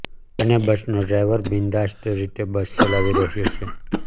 અને બસનો ડ્રાઈવર બિંદાસ્ત રીતે બસ ચલાવી રહ્યો છે